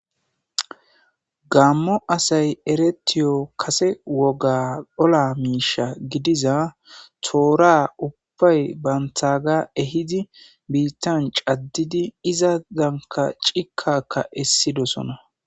Gamo asay erettiyo kasse wogga olaa misha gidiza, tora ubbay bantaga ehidi biitta caddidi iza danka citan qassi dossona.